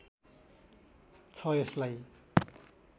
छ यसलाई